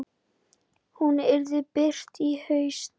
Hún yrði birt í haust.